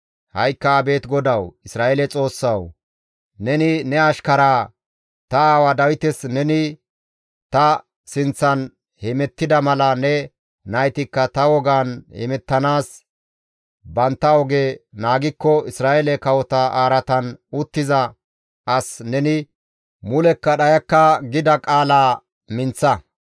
Ha7ikka abeet GODAWU, Isra7eele Xoossawu! Neni ne ashkaraa, ta aawa Dawites, ‹Neni ta sinththan hemettida mala ne naytikka ta wogan hemettanaas bantta oge naagikko, Isra7eele kawota araatan uttiza as neni mulekka dhayakka› gida qaalaa minththa.